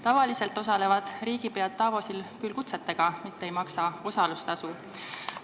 Tavaliselt osalevad riigipead Davosi kohtumisel kutsete alusel ega maksa osalustasu.